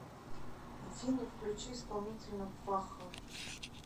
афина включи исполнителя вахха